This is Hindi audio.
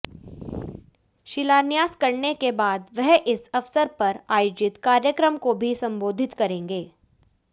शिलान्यास करने के बाद वह इस अवसर पर आयोजित कार्यक्रम को भी संबोधित करेंगे